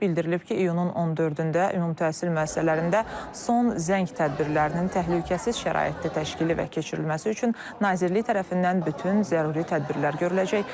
Bildirilib ki, iyunun 14-də ümumi təhsil müəssisələrində son zəng tədbirlərinin təhlükəsiz şəraitdə təşkili və keçirilməsi üçün nazirlik tərəfindən bütün zəruri tədbirlər görüləcək.